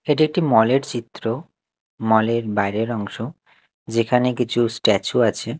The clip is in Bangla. এটি একটি মল -এর চিত্র মল -এর বাইরের অংশ যেখানে কিছু স্ট্যাচু আছে।